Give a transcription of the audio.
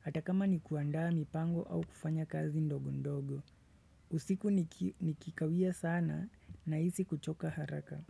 hata kama ni kuandaa mipango au kufanya kazi ndogo ndogo. Usiku nikikawia sana nahisi kuchoka haraka.